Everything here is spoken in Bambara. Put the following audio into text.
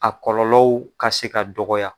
A kɔlɔlɔw ka se ka dɔgɔya